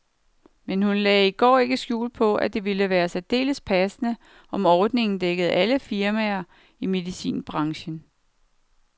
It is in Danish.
Men hun lagde i går ikke skjul på, at det ville være særdeles passende, om ordningen dækker alle firmaer i medicinbranchen.